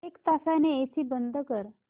एक तासाने एसी बंद कर